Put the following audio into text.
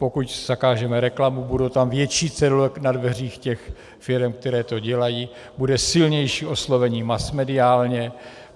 Pokud zakážeme reklamu, budou tam větší cedule na dveřích těch firem, které to dělají, bude silnější oslovení masmediálně.